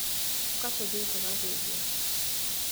ũka tũthiĩ tũgathĩnje.